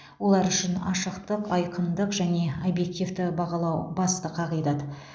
олар үшін ашықтық айқындық және объективті бағалау басты қағидат